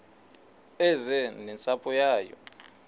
eze nentsapho yayo